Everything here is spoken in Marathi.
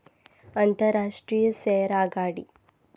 आंतरराष्ट्रीय सौर आघाडी